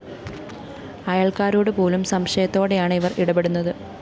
അയല്‍ക്കാരോടുപോലും സംശയത്തോടെയാണ് ഇവര്‍ ഇടപെടുന്നത്